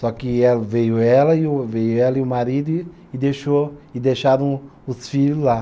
Só que ela, veio ela e o, veio ela e o marido e e deixou, e deixaram os filhos lá.